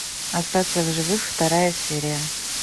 остаться в живых вторая серия